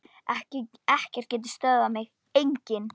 Ekkert getur stöðvað mig, enginn.